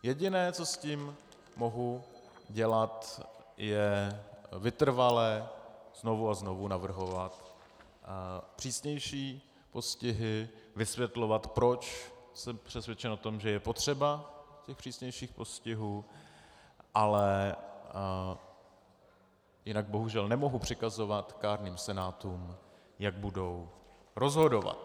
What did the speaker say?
Jediné, co s tím mohu dělat, je vytrvale znovu a znovu navrhovat přísnější postihy, vysvětlovat, proč jsem přesvědčen o tom, že je potřeba těch přísnějších postihů, ale jinak bohužel nemohu přikazovat kárným senátům, jak budou rozhodovat.